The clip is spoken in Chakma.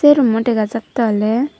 se rummo dega jatte awle.